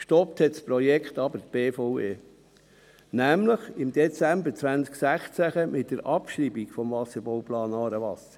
Gestoppt hat das Projekt aber die BVE, nämlich im Dezember 2016 mit der Abschreibung des Wasserbauplans «Aarewasser».